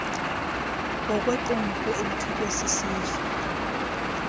ngokwequmrhu elithunywe sisizwe